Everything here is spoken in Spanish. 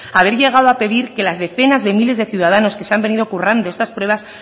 haber llegado a pedir que las decenas de miles de ciudadanos que se han venido currando estas pruebas